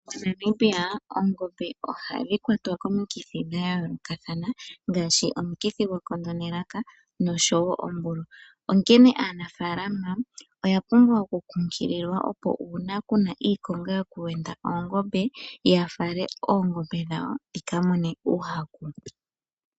MoNamibia oongombe ohadhi kwatwa komikithi dhayoolokathana ngaashi omukithi gwekondo nelaka noshowo oombulwa ,onkene aanafaalama oyapumbwa okunkulilwa opo uuna kuna iikonga yokuwenda oongombe yafale oongombe dhawo dhikamone uuhaku.